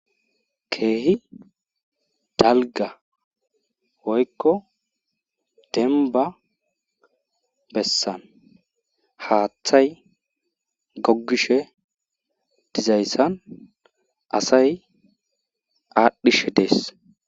Keehi dalgga woykko dembba bessan haaththay gogishe dizayssan asay aadhishe dees.